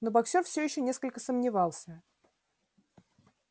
но боксёр все ещё несколько сомневался